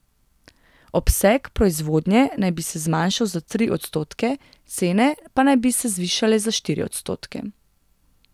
Obseg proizvodnje naj bi se zmanjšal za tri odstotke, cene pa naj bi se zvišale za štiri odstotke.